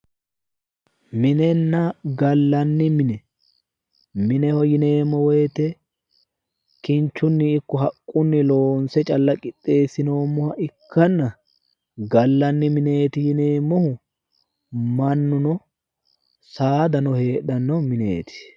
minenna gallanni mine mineho yineemmo wote kinchunni ikko haqqunni loonse calla qixxeesinooha ikkanna gallanni mineeti yineemmohu mannuno saadano heedhanno mineeti.